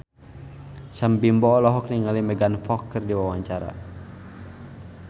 Sam Bimbo olohok ningali Megan Fox keur diwawancara